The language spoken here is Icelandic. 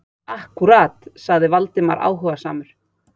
Akkúrat- sagði Valdimar áhugasamur.